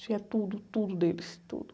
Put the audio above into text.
Tinha tudo, tudo deles, tudo.